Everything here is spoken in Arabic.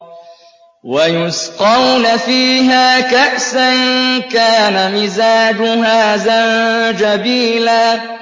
وَيُسْقَوْنَ فِيهَا كَأْسًا كَانَ مِزَاجُهَا زَنجَبِيلًا